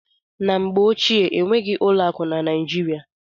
Na mgbe ochie, enweghị ụlọ akụ na Naijiria.